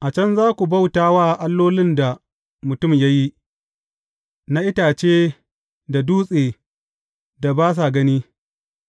A can za ku bauta wa allolin da mutum ya yi, na itace da dutse da ba sa gani,